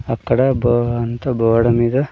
అక్కడ బో-- అంతా బోర్డు మీద.